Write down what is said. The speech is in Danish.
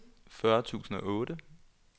fyrre tusind og otte